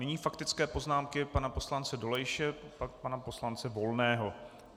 Nyní faktické poznámky pana poslance Dolejše, pak pana poslance Volného.